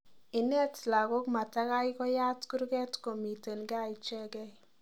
Inet lagook matagoi koyaat kurget komiten gaa ichegei